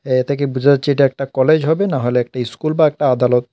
এ থেকে বুঝা যাচ্ছে এটা একটা কলেজ হবে না হলে একটা স্কুল বা একটা আদালত।